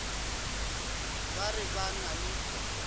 ba re ba na le